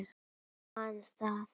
Man það.